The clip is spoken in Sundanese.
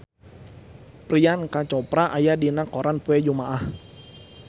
Priyanka Chopra aya dina koran poe Jumaah